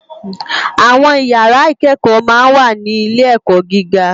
Awòn ìyàrá ikèékò mà n wá ni ilé èkò gigá